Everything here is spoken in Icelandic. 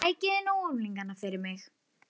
Sækið þið nú unglingana fyrir mig!